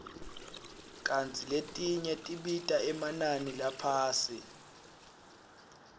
kantsi letinye tibita emanani laphasi